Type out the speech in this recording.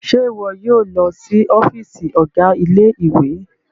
Ṣe iwọ yóò lọ sí ọfiisi ọga ilé-ìwé?